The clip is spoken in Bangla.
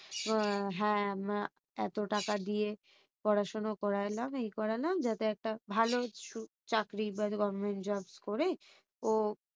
আহ হ্যাঁ এত টাকা দিয়ে পড়াশোনা করলাম এই করলাম যাতে একটা ভালো চাকরি বা government jobs করে ও